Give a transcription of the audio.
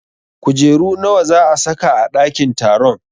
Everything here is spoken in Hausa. Kujeru nawa za a sa ka a ɗakin taron?